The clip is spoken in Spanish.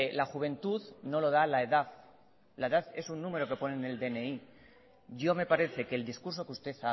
la juventud no lo da la edad la edad es un número que pone en el dni yo me parece que el discurso que usted